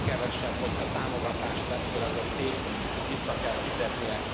Az a legkevesebb, hogyha támogatást vett föl ez a cég, vissza kell fizetnie.